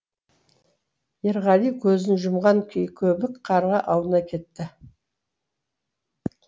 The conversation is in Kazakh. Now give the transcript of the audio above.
ерғали көзін жұмған күйі көбік қарға аунай кетті